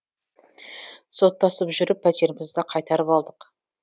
соттасып жүріп пәтерімізді қайтарып алдық